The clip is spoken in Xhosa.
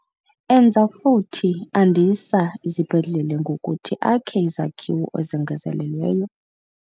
Enza futhi andisa izibhedlele ngokuthi akhe izakhiwo ezongezelelweyo.